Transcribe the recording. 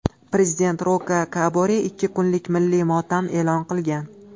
Prezident Roka Kabore ikki kunlik milliy motam e’lon qilgan.